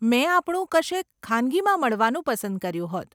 મેં આપણું કશેક ખાનગીમાં મળવાનું પસંદ કર્યું હોત.